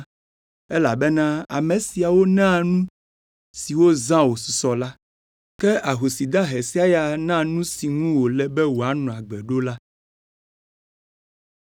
elabena ame siawo na nu si wozã wosusɔ la, ke ahosi dahe sia ya na nu si ŋu wòle be wòanɔ agbe ɖo la.”